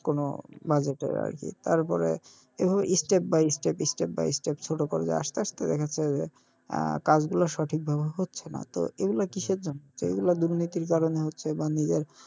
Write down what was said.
কোনো budget এর আরকি তারপরে এরপর step by step step by step ছোটো করে দেখা যাচ্ছে যে আহ কাজগুলো সঠিক ভাবে হচ্ছে না তো এগুলা কিসের জন্য, এগুলা দুর্নীতির কারনে হচ্ছে বা নিজের,